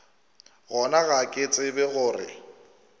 gona ga ke tsebe gore